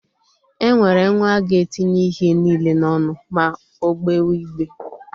E nwere nwa ga-etinye ihe niile n'onụ ma ọ gbewe igbe.